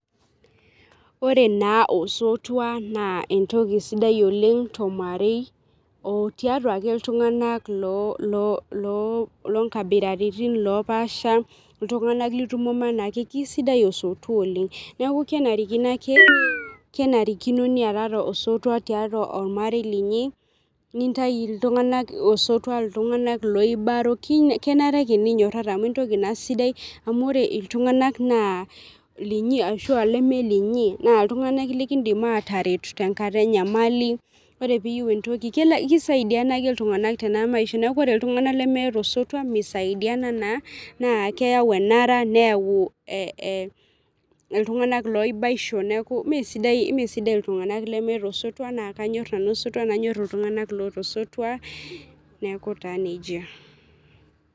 Ore naa osotua naa entoki sidai oleng tormarei otiatua ake iltunganak loo, loo loonkabiratin naapasha , iltunganak litumomo anaake, kisidai osotua oleng, neeku , kenarikino ake, kenarikino niatata osotua tiatua ormarei linyi , nintai iltunganak osotua , iltunganak loibaro , kenare ake ninyorara amu entoki naa amu ore iltunganak naa linyi ashua iltunganak leme linyi naa iltunganak likindim ataretu tenkata enyamali , ore piyieu entoki , kelo ,kisaidiana ake iltunganak tena maisha niaku ore iltunganak lemeeta osotua misaidiana naa keyau enara , neyau ee iltunganak loibaisho , neeku mmee sidai, mmee sidai iltunganak lemeeta osotua naa kanyor nanu nanyor iltunganak loota osotua neaku taa nejia.